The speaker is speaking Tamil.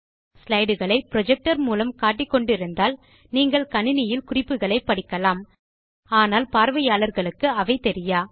ஸ்லைடு களை புரொஜெக்டர் மூலம் காட்டிக்கொண்டு இருந்தால் நீங்கள் கணினியில் குறிப்புகளை படிக்கலாம் ஆனால் பார்வையாளர்களுக்கு அவை தெரியா